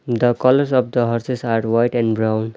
The college of the horses hard white and brown.